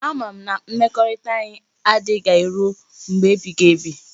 A mara m na mmekorita anyi ga adigide ruo mgbe ebighi ebi